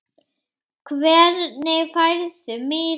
Hvernig færðu miða?